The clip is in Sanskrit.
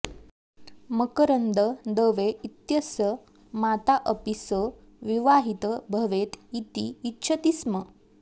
मकरन्दः दवे इत्यस्य माता अपि सः विवाहितः भवेत् इति इच्छति स्म